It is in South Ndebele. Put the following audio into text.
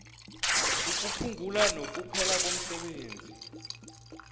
ukuphungula nokuphela komsebenzi